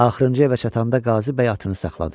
Axırıncı evə çatanda Qazı bəy atını saxladı.